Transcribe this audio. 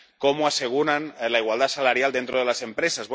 cómo aseguran la igualdad salarial dentro de la empresa.